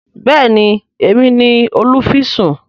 béèni Èmi ní olufisun.